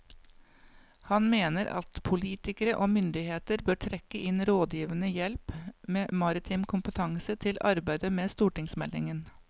Han mener at politikere og myndigheter bør trekke inn rådgivende hjelp med maritim kompetanse til arbeidet med stortingsmeldingen.